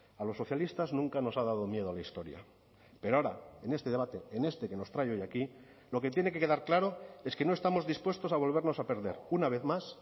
a los socialistas nunca nos ha dado miedo la historia pero ahora en este debate en este que nos trae hoy aquí lo que tiene que quedar claro es que no estamos dispuestos a volvernos a perder una vez más